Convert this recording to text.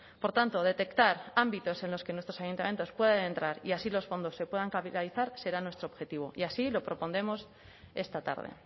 por tanto detectar ámbitos en los que nuestros ayuntamientos puedan entrar y así los fondos se puedan capitalizar será nuestro objetivo y así lo propondremos esta tarde